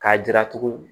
K'a jira tugu